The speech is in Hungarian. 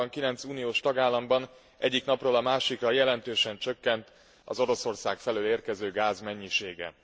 Januárban egy 9 milliós tagállamban egyik napról a másikra jelentősen csökkent az Oroszország felől érkező gáz mennyisége.